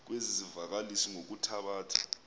kwezi zivakalisi ngokuthabatha